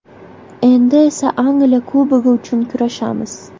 Endi esa Angliya Kubogi uchun kurashamiz!